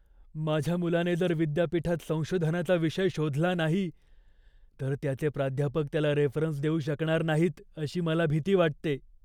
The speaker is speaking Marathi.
माझ्या मुलाने जर विद्यापीठात संशोधनाचा विषय शोधला नाही, तर त्याचे प्राध्यापक त्याला रेफरन्स देऊ शकणार नाहीत अशी मला भीती वाटते.